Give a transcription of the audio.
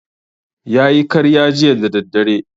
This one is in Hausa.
Ya yi karya jiya da daddare